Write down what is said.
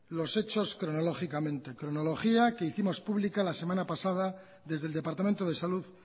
los hechos cronológicamente cronología que hicimos pública la semana pasada desde el departamento de salud